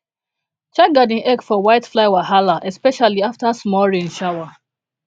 check garden egg for whitefly wahala especially after small rain shower